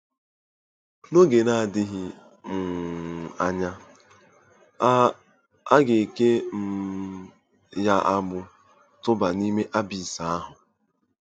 N’oge na-adịghị um anya, a a ga-eke um ya agbụ tụba “n’ime abis” ahụ.